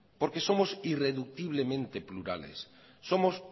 porque somos irreduciblemente sociales somos